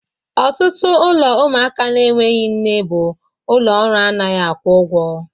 Ọtụtụ ụlọ ụmụaka na-enweghị nne bụ ụlọ ọrụ anaghị akwụ ụgwọ.